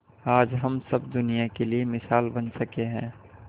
आज हम सब दुनिया के लिए मिसाल बन सके है